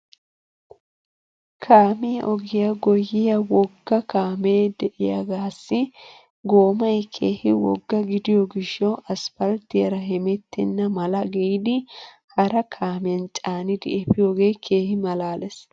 Kaamiyaa ogiyaa goyyiyaa wogga kaamee de'iyaagaassi goomay keehi wogga gidiyoo gishshaw asppalttiyaara hemettenna mala giidi hara kaamiyan caanidi efiyoogee keehi malaales.